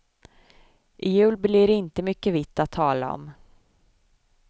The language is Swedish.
I jul blir det inte mycket vitt att tala om.